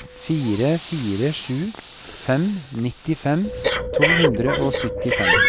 fire fire sju fem nittifem to hundre og syttifem